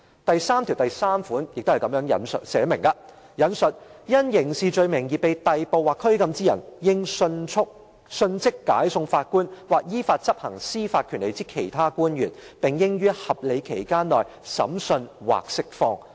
"第九條第三項則訂明："因刑事罪名而被逮捕或拘禁之人，應迅即解送法官或依法執行司法權力之其他官員，並應於合理期間內審訊或釋放。